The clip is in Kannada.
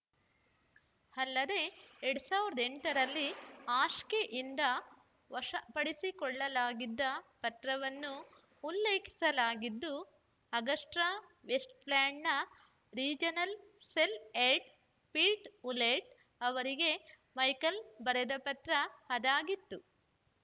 ಅಲ್ಲದೆಎರಡ್ ಸಾವಿರದ ಎಂಟರಲ್ಲಿ ಹಾಶ್ಕೆಯಿಂದ ವಶಪಡಿಸಿಕೊಳ್ಳಲಾಗಿದ್ದ ಪತ್ರವನ್ನೂ ಉಲ್ಲೇಖಿಸಲಾಗಿದ್ದು ಆಗಸ್ಟಾವೆಸ್ಟ್‌ಲ್ಯಾಂಡ್‌ನ regional sale head Peter Hulett ಅವರಿಗೆ ಮೈಕೆಲ್‌ ಬರೆದ ಪತ್ರ ಅದಾಗಿತ್ತು